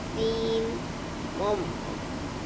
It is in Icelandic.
Þín, mamma.